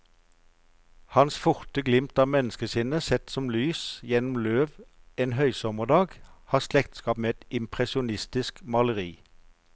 Hans forte glimt av menneskesinnet, sett som lys gjennom løv en høysommerdag, har slektskap med et impresjonistisk maleri.